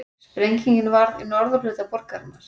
Sprengingin varð í norðurhluta borgarinnar